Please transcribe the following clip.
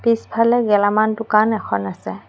পিছফালে গেলামাল দোকান এখন আছে।